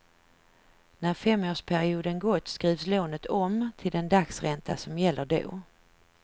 När femårsperioden gått skrivs lånet om, till den dagsränta som gäller då.